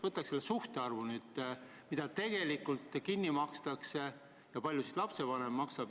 Võtaks need suhtarvud nüüd, mis tegelikult kinni makstakse ja kui palju lapsevanem maksab.